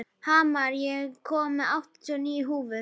Hamar, ég kom með áttatíu og níu húfur!